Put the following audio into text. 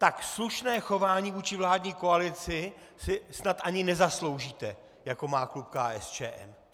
Tak slušné chování vůči vládní koalici si snad ani nezasloužíte, jako má klub KSČM.